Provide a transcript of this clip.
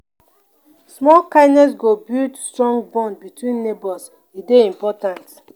small kindness go build strong bond between neighbors; e dey important.